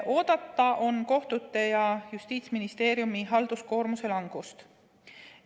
Oodata on kohtute ja Justiitsministeeriumi halduskoormuse langust.